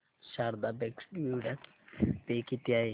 Sharda bank dividend pay किती आहे